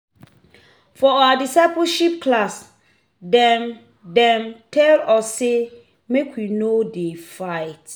For our discipleship class, dem dem tell us sey make we no dey fight.